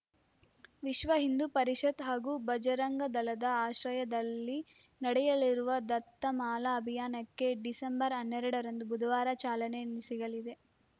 ವಿಶ್ವಹಿಂದೂ ಪರಿಷತ್‌ ಹಾಗೂ ಭಜರಂಗದಳದ ಆಶ್ರಯದಲ್ಲಿ ನಡೆಯಲಿರುವ ದತ್ತಮಾಲಾ ಅಭಿಯಾನಕ್ಕೆ ಡಿಸೆಂಬರ್ ಹನ್ನೆರಡರಂದು ಬುಧವಾರ ಚಾಲನೆ ಸಿಗಲಿದೆ